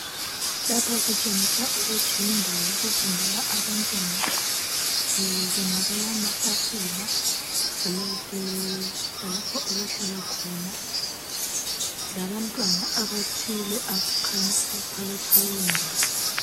Lapha kutshengisa ukuthi yindawo yokufundela abantwana, kubonakala amatafula, lalapho abahlala khona, labantwana abathile abakhanyayo phakathi kwaleyondawo.